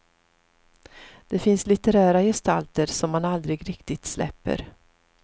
Det finns litterära gestalter som man aldrig riktigt släpper.